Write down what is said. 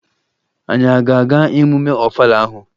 Anyị a ga-aga emume Ọfala ahụ?